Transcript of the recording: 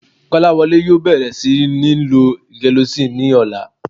Kọ́láwọlé yóò bẹ̀rẹ̀ sí níí lo gelocin ní ọ̀la